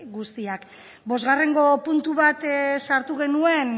guztiak bosgarrengo puntu bat sartu genuen